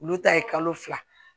Olu ta ye kalo fila